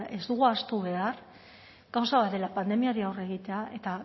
ez dugu ahaztu behar gauza bat dela pandemiari aurre egitea eta